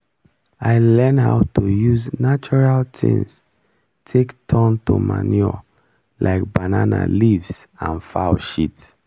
i learn how to use natural things take turn to manure like banana leaves and fowl shit